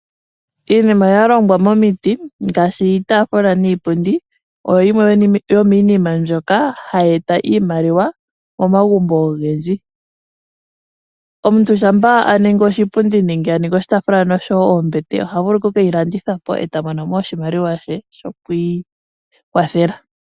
Iinima ya longwa momiti ngaashi iitaafula niipundi oyo yimwe yomiinima mbyoka hayi e ta iimaliwa momagumbo ogendji. Omuntu shampa a ningi oshipundi nenge a ningi oshitaafula noshowo ombete oha vulu okukeyilanditha po e ta mono mo oshimaliwa she shokwii kwathela.